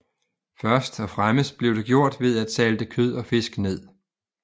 Først og fremmest blev det gjort ved at salte kød og fisk ned